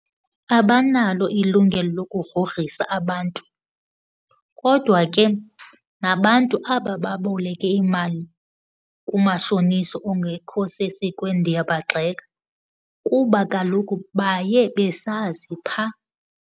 Abanalo ilungelo lokugrogrisa abantu, kodwa ke nabantu aba baboleke imali kumashonisa ongekho sesikweni ndiyabagxeka kuba kaloku baye besazi phaa.